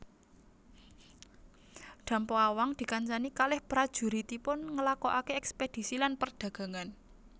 Dampo Awang dikancani kaleh prajuritipun nglakokake eskpedisi lan perdagangan